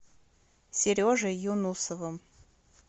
сережей юнусовым